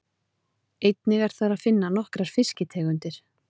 Einnig er þar að finna nokkrar fiskitegundir.